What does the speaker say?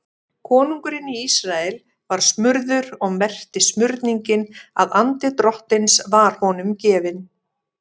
Konungurinn í Ísrael var smurður og merkti smurningin að andi Drottins var honum gefinn.